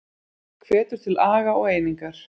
Hvetur til aga og einingar